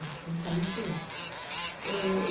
Então, eu saí de lá, eh